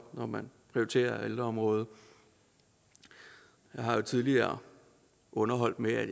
når man prioriterer ældreområdet jeg har jo tidligere underholdt med at